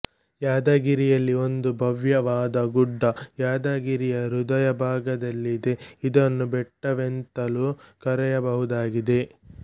ಯಾದಗಿರಿಯಲ್ಲಿ ಒಂದು ಭವ್ಯ ವಾದ ಗುಡ್ಡ ಯಾದಗಿರಿಯ ಹೃದಯ ಭಾಗದಲ್ಲಿದೆ ಇದನ್ನು ಬೆಟ್ಟವೆಂತಲು ಕರೆಯಬಹುದಾಗಿದೆ